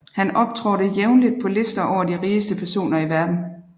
Han optrådte jævnligt på lister over de rigeste personer i verden